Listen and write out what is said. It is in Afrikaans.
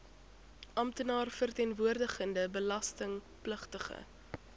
amptenaar verteenwoordigende belastingpligtige